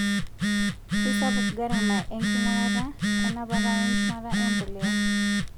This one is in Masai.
Keisapuk garama enking'urata, enapata wenchumata empuliya.